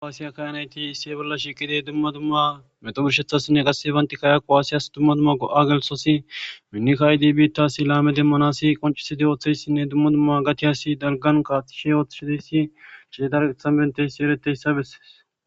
aasiya kaynayti isse bolla shiqidey duma duma metoburshethasinne qasse bantikkayakku aasiyas duma duma go7a gelsosi minnikaydi biittasi laame demmanasi qoncisidi ooththeyssinne duma duma gati asi dalganka ishe ooththishideyssi chietarethan benteyssi ereteyssa besses.